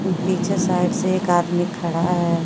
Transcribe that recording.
पीछे साइड से एक आदमी खड़ा है।